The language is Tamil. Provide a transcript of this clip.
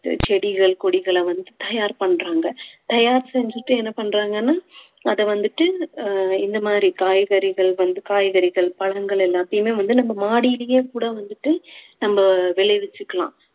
செடிகள் கொடிகளை வந்து தயார் பண்றாங்க தயார் செஞ்சுட்டு என்ன பண்றாங்கன்னா அத வந்துட்டு ஆஹ் இந்த மாதிரி காய்கறிகள் வந்து காய்கறிகள் பழங்கள் எல்லாத்தையுமே வந்து நம்ம மாடியிலேயே கூட வந்துட்டு நம்ம விளைவிச்சுக்கலாம்